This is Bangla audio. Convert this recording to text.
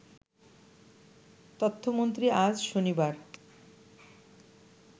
তথ্যমন্ত্রী আজ শনিবার